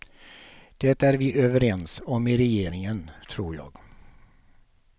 Det är vi överens om i regeringen, tror jag.